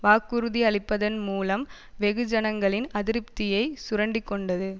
வாக்குறுதியளிப்பதன் மூலம் வெகு ஜனங்களின் அதிருப்தியை சுரண்டி கொண்டது